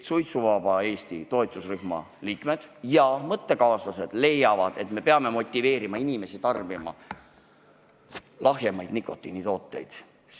Suitsuvaba Eesti toetusrühma liikmed ja meie mõttekaaslased leiavad, et peame motiveerima inimesi tarbima lahjemaid nikotiinitooteid.